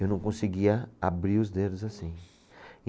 Eu não conseguia abrir os dedos assim.